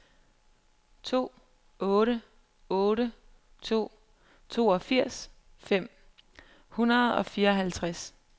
to otte otte to toogfirs fem hundrede og fireoghalvtreds